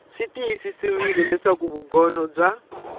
swi tiyisisiwile leswaku vugono bya